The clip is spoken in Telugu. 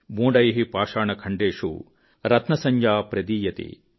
మూఢైః పాషాణఖండేషు రత్నసంజ్ఞా ప్రదీయతే